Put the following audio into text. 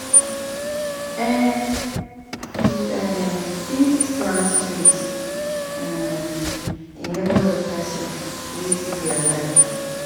um You fit um give person surprise um package when dem no expect am